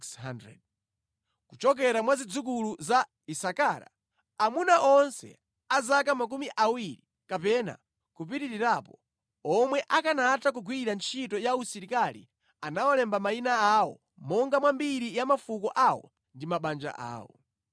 Kuchokera mwa zidzukulu za Isakara: Amuna onse a zaka makumi awiri kapena kupitirirapo, omwe akanatha kugwira ntchito ya usilikali anawalemba mayina awo monga mwa mbiri ya mafuko awo ndi mabanja awo.